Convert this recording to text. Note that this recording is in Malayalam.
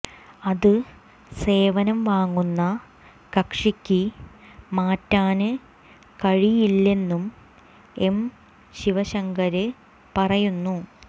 അത് സേവനം വാങ്ങുന്ന കക്ഷിക്ക് മാറ്റാന് കഴിയില്ലെന്നും എം ശിവശങ്കര് പറയുന്നു